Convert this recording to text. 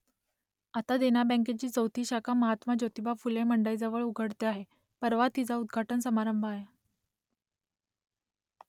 आता देना बँकेची चौथी शाखा महात्मा ज्योतिबा फुले मंडईजवळ उघडते आहे परवा तिचा उद्घाटन समारंभ आहे